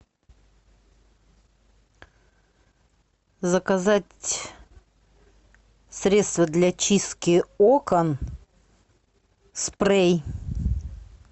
заказать средство для чистки окон спрей